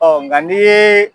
Ɔ nka nin ye